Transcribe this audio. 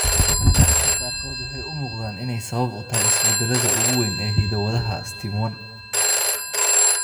Kiisaska qaarkood waxay u muuqdaan inay sabab u tahay isbeddellada ugu weyn ee hidda-wadaha STIM1.